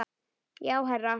Já, herra